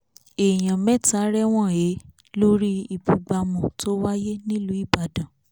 èèyàn mẹ́ta rẹ̀wọ̀n he lórí ìbúgbámú tó wáyé nílù ìbàdàn